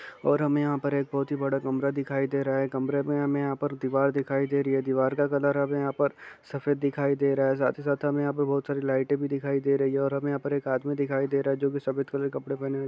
और हमें यहाँ पर एक बहुत ही बड़ा कमरा दिखाई दे रहा है। कमरे में हमें यहां पर दीवार दिखाई दे रही है। दीवार का कलर हमें यहां पर सफेद दिखाई दे रहा है साथ ही साथ हमे यहाँ पर बहुत सारी लाइटें भी दिखाई दे रही हैं और हमें यहाँ पर एक आदमी दिखाई दे रहा है जो कि सफेद कलर का कपड़ा पहने हुए ---